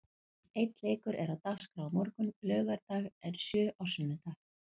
Einn leikur er á dagskrá á morgun, laugardag en sjö á sunnudag.